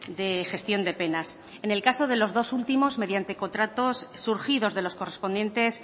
de gestión de penas en el caso de los dos últimos mediante contratos surgidos de los correspondientes